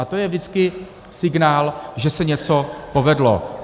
A to je vždycky signál, že se něco povedlo.